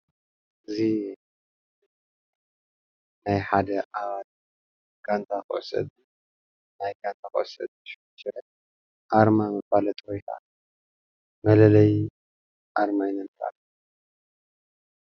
እዚ ናይ ሓደ ጛንታ ኩዕሶ እግሪ ናይ ጋንታ ኵዕሶ እግሪ ስሑል ሽረ ኣርማ መፋለጢ ወይ ካዓ መለለይ ኣርመን ይባሃል።